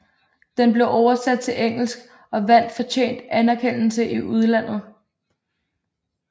Den blev oversat til engelsk og vandt fortjent anerkendelse i udlandet